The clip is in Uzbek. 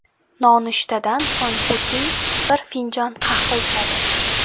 Nonushtadan so‘ng Putin bir finjon qahva ichadi.